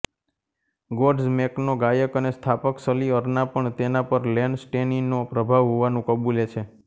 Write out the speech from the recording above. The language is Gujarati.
ગોડ્ઝમેકનો ગાયક અને સ્થાપક સલી અર્ના પણ તેના પર લેન સ્ટેનીનો પ્રભાવ હોવાનું કબૂલે છે